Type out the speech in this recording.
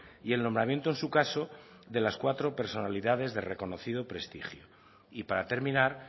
y el nombramiento en su caso de las cuatro personalidades de reconocido prestigio y para terminar